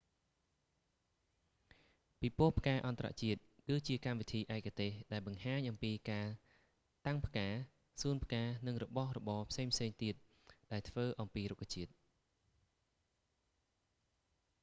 ពិពរណ៍ផ្កាអន្តរជាតិគឺជាកម្មវិធីឯកទេសដែលបង្ហាញអំពីការតាំងផ្កា សួនផ្កានិងរបស់របរផ្សេងៗទៀតដែលធ្វើអំពីរុក្ខជាតិ